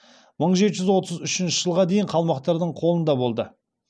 мың жеті жүз отыз үшінші жылға дейін қалмақтардың қолында болды